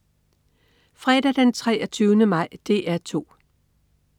Fredag den 23. maj - DR 2: